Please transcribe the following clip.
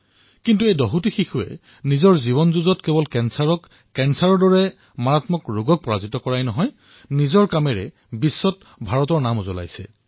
কিন্তু এই দহগৰাকী শিশুৱে কেৱল এই মৃত্যুমুখী ৰোগৰ সৈতে যুঁজ দিয়াই নহয় নিজৰ অসাধাৰণ কাৰ্যৰ দ্বাৰা সমগ্ৰ বিশ্বতে ভাৰতৰ নাম উজ্বলাবলৈ সমৰ্থ হৈছে